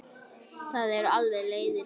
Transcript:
Það eru alveg leiðir.